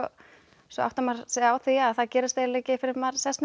svo áttar maður sig á því að það gerist eiginlega ekki fyrr en maður sest niður